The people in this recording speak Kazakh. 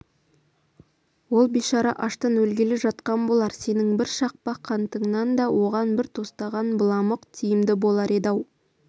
ол бейшара аштан өлгелі жатқан болар сенің бір шақпақ қантыңнан да оған бір тостаған быламық тиімді болар еді-ау